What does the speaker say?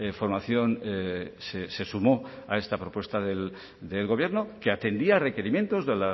formación se sumó a esta propuesta del gobierno que atendía requerimientos de